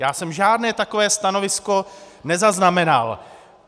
Já jsem žádné takové stanovisko nezaznamenal.